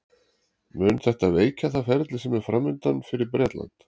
Mun þetta veikja það ferli sem er framundan fyrir Bretland?